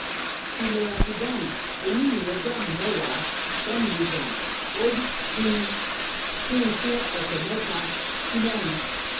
fi loratidine oní mìlígíráàmù mẹ́wàá (10 mg) od kún un fún ọ̀sẹ̀ mẹ́ta sí mẹ́rin